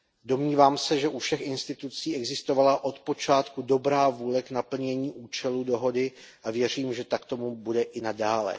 Domnívám se, že u všech institucí existovala od počátku dobrá vůle k naplnění účelu dohody, a věřím, že tak tomu bude i nadále.